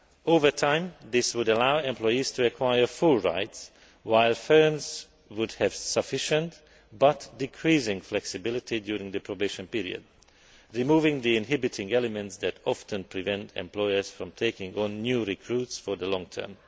Over time, this would allow employees to acquire full rights while firms would have sufficient, but decreasing, flexibility during the probation period, removing the inhibiting elements that often prevent employees from taking on new recruits for the long term.